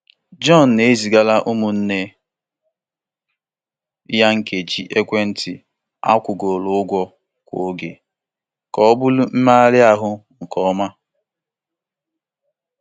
John na-ezigara ụmụnne ya nkeji ekwentị akwụgoro ụgwọ kwa oge ka ọ bụrụ mmegharị ahụ nke ọma.